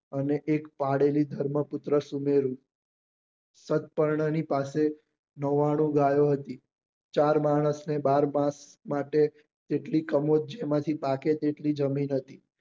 અને એક પાળેલી ધર્મપુત્ર સુનેરી સત્કર્ણ ની પાસે નવ્વાણું ગાયો હતી ચાર માણસ ને બાર માસ માટે જેટલી કમોચ જેમાં થી પાકે એટલી જમીન હતી